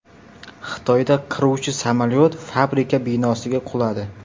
Xitoyda qiruvchi samolyot fabrika binosiga quladi.